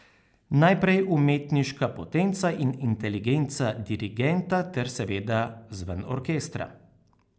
Najprej umetniška potenca in inteligenca dirigenta ter seveda zven orkestra.